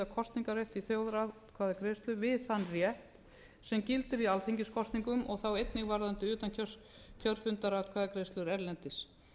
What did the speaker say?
kosningarrétt við þjóðaratkvæðagreiðslu við þann rétt sem gildir í alþingiskosningum og þá einnig varðandi utankjörfundaratkvæðagreiðslur erlendis